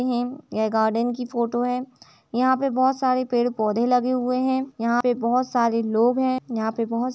है यह गार्डन की फोटो है। यहाँ पर बोहोत सारे पेड़ पौधे लगे हुए हैं यहाँ पे बोहोत सारे लोग हैं यहाँ पे बोहोत स --